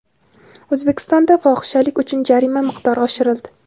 O‘zbekistonda fohishalik uchun jarima miqdori oshirildi.